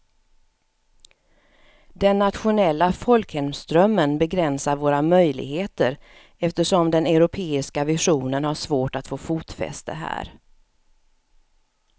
Den nationella folkhemsdrömmen begränsar våra möjligheter eftersom den europeiska visionen har svårt att få fotfäste här.